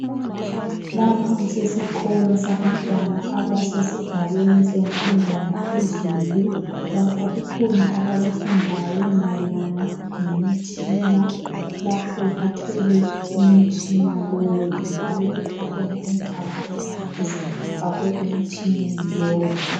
Lapha kusesikolo sabantwana abasesigabeni semfundo yaphezulu. Lapha kukhona abakufundayo mayelana lemtshina, lapho bathwele umtshina lowu njalo kukhona intambo ezifakwe emtshineni lowu.